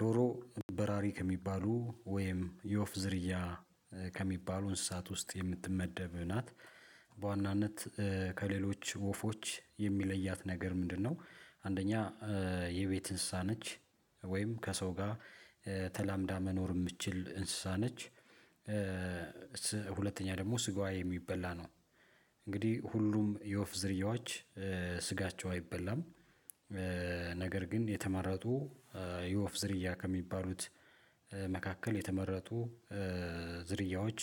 ዶሮ በራሪ ከሚባሉ ወይም የወፍ ዝርያ ከሚባሉ እንስሳት ውስጥ የምትመደብ ናት። በዋናነት ከሌሎች ወፎች የሚለያት ነገር ምንድነው? አንደኛ የቤት እንስሳ ነች ወይም ከሰው ጋር ተላምዳ መኖር የምትችል እንስሳ ነች። ሁለተኛ ደግሞ ስጋዋ የሚበላ ነው። እንግዲህ ሁሉም የወፍ ዝርያዎች ስጋቸው አይበላም። ነገር ግን የተመረጡ የወፍ ዝርያ ከሚባሉት መካከል የተመረጡ ዝርያዎች